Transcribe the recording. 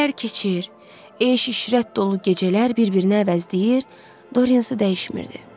İllər keçir, eyş-işrət dolu gecələr bir-birinə əvəzləyir, Dorian isə dəyişmirdi.